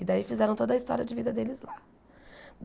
E daí fizeram toda a história de vida deles lá.